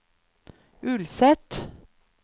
Ulset